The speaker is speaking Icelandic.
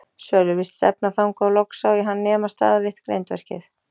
Sölvi virtist stefna þangað og loks sá ég hann nema staðar við eitt grindverkið.